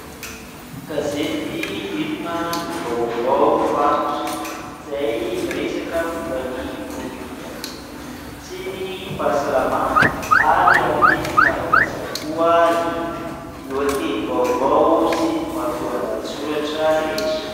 Gazety Inona no Vaovao Faritra izay miresaka momba ny politika sy ny fahasalamana ary amin'ny teny malagasy avokoa ny lohatenim-baovao sy ny matoan-dahantsoratra rehetra.